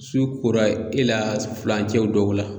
Su kora e la fulancɛ dɔw la